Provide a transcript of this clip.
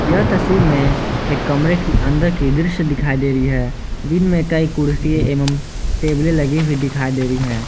यह तस्वीर में एक कमरे के अंदर की दृश्य दिखाई दे रही है जिनमें कई कुर्सी एवं टेबलें लगी हुई दिखाई दे रही हैं।